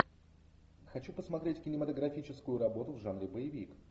хочу посмотреть кинематографическую работу в жанре боевик